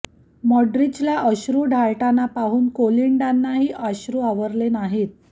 मॉड्रीचला अश्रू ढाळताना पाहून कोलिंडानाही अश्रू आवरले नाहीत